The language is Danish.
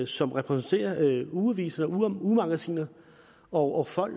som repræsenterer ugeaviser og ugemagasiner og folk